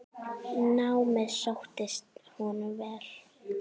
Námið sóttist honum vel.